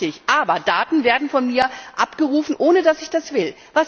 Ja, richtig, aber Daten werden von mir abgerufen, ohne dass ich das will.